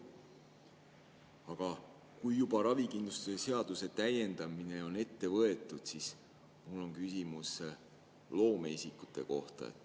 Aga kui juba ravikindlustuse seaduse täiendamine on ette võetud, siis on mul küsimus loomeisikute kohta.